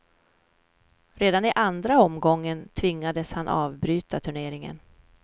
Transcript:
Redan i andra omgången tvingades han avbryta turneringen.